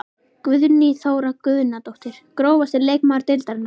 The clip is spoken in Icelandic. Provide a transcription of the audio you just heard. Guðný Þóra Guðnadóttir Grófasti leikmaður deildarinnar?